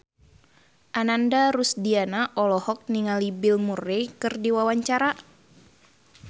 Ananda Rusdiana olohok ningali Bill Murray keur diwawancara